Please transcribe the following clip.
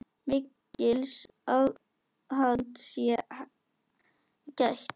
Mikils aðhalds sé gætt.